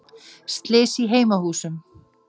Slys í heimahúsum